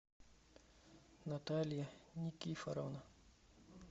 наталья никифоровна